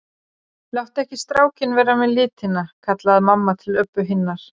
Láttu ekki strákinn vera með litina, kallaði mamma til Öbbu hinnar.